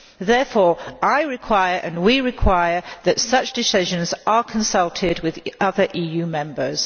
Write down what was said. Therefore I require, and we require, that such decisions are consulted with other EU members.